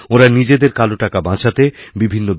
ওঁরা নিজেদের কালো টাকা বাঁচাতে বিভিন্ন